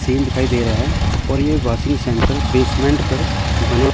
scene दिखाई दे रहा है और ये वॉशिंग सेंटर बेसमेंट पर बना--